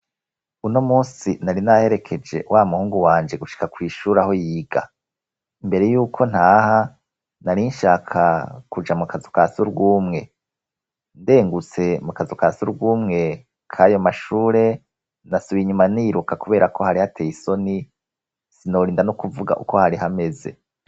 Uno musi nari naherekeje wa muhungu wanje gushika kw'ishure aho yiga, mbere y'uko ntaha narinshaka kuja mu kazu ka sugumwe, ndengutse mu kazu ka sugumwe kayo mashure nasubiye inyuma niruka kubera ko hari hateye isoni sinorinda no kuvuga uko hari hameze.